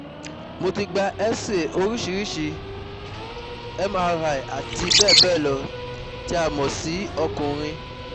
Mo ti gba xray orisirisi, mri ati bẹ́ẹ̀ bẹ́ẹ̀ lọ ti a mo si ọkunrin